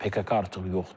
PKK artıq yoxdur.